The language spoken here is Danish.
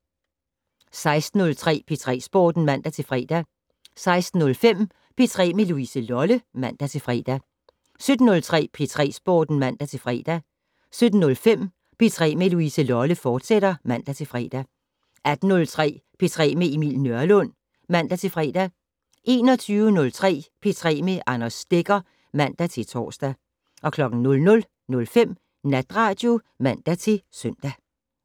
16:03: P3 Sporten (man-fre) 16:05: P3 med Louise Lolle (man-fre) 17:03: P3 Sporten (man-fre) 17:05: P3 med Louise Lolle, fortsat (man-fre) 18:03: P3 med Emil Nørlund (man-fre) 21:03: P3 med Anders Stegger (man-tor) 00:05: Natradio (man-søn)